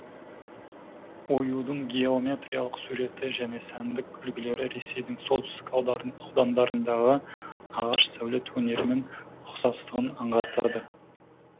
оюдың геометриялық суреті және сәндік үлгілері ресейдің солтүстік аудандарындағы ағаш сәулет өнерімен ұқсастығын аңғартады